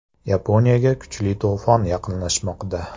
Yaponiyaga kuchli to‘fon yaqinlashmoqda.